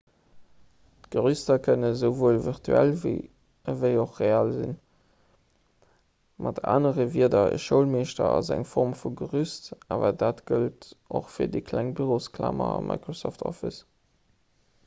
d'gerüster kënnen esouwuel virtuell ewéi och real sinn mat anere wierder e schoulmeeschter ass eng form vu gerüst awer dat gëllt och fir déi kleng bürosklamer a microsoft office